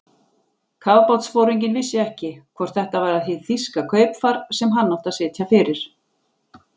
Kafbátsforinginn vissi ekki, hvort þetta var hið þýska kaupfar, sem hann átti að sitja fyrir.